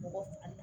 Mɔgɔ